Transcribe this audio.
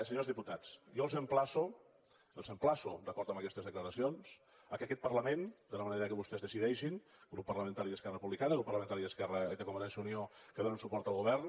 senyors diputats jo els emplaço els emplaço d’acord amb aquestes declaracions que aquest parlament de la manera que vostès decideixin el grup parlamentari d’esquerra republicana i el grup parlamentari de convergència i unió que donen suport al govern